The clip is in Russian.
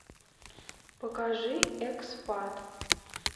покажи экспат